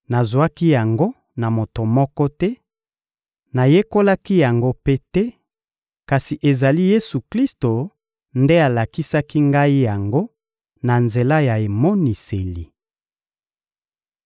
Nazwaki yango na moto moko te, nayekolaki yango mpe te; kasi ezali Yesu-Klisto nde alakisaki ngai yango na nzela ya emoniseli.